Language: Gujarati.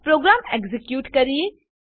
પ્રોગ્રામ એક્ઝીક્યુટ કરીએ